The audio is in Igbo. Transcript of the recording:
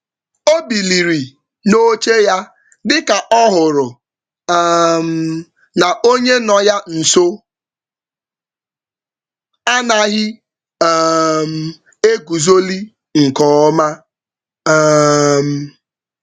O biliri n'oche ya, dika ọhụrụ um na onye no ya nso anaghị um eguzoli nke ọma um